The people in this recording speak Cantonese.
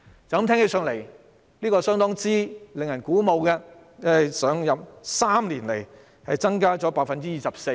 "驟耳聽來，相當令人鼓舞，經常開支在3年內增加了 24%。